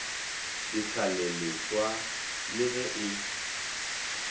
ditlhale leswa le ge e